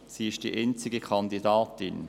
Sie ist die einzige Kandidatin.